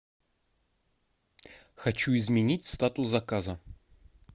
хочу изменить статус заказа